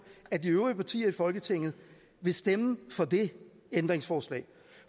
at de øvrige partier i folketinget vil stemme for det ændringsforslag